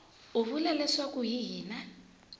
u vula leswaku hi yena